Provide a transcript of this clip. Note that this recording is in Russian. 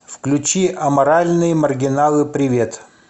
включи аморальные маргиналы привет